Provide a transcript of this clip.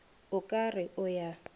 o ka re o ya